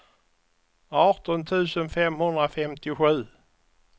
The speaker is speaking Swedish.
arton tusen femhundrafemtiosju